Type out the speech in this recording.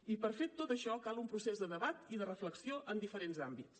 i per fer tot això cal un procés de debat i de reflexió en diferents àmbits